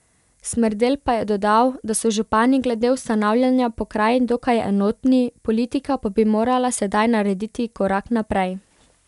Smrdelj pa je dodal, da so župani glede ustanavljanja pokrajin dokaj enotni, politika pa bi morala sedaj narediti korak naprej.